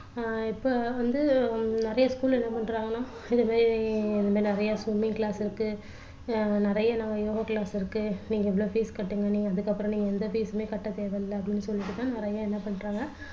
ஆஹ் இப்போ வந்து நிறைய school என்ன பண்றாங்கன்னா இது மாதிரி நிறைய swimming class இருக்கு நிறைய நாங்க yoga class இருக்கு நீங்க இவ்வளோ fees கட்டுங்க அதுக்கப்புறோம் நீங்க எந்த fees உமே கட்ட தேவையில்ல அப்படின்னு சொல்லிட்டு தான் நிறைய என்ன பண்றாங்க